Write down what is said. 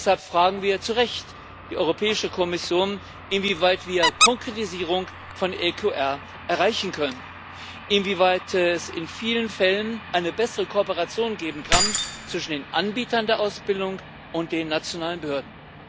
Deshalb fragen wir zu Recht die Europäische Kommission, inwieweit wir eine Konkretisierung von EQR erreichen können, inwieweit es in vielen Fällen eine bessere Kooperation geben kann zwischen den Anbietern der Ausbildung und den nationalen Behörden.